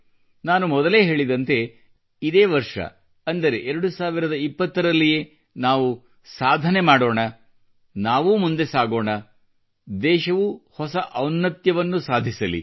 ನಾನು ಮೊದಲೇ ಹೇಳಿದಂತೆ ಇದೇ ವರ್ಷವನ್ನು ಅಂದರೆ 2020ರಲ್ಲಿಯೇ ನಾವು ಸಾಧನಗೈಯ್ಯೋಣ ನಾವು ಉತ್ತಮವಾಗಿಸೋಣ ನಾವೂ ಮುಂದೆ ಸಾಗೋಣ ದೇಶವೂ ಹೊಸ ಔನ್ನತ್ಯವನ್ನು ಸಾಧಿಸಲಿ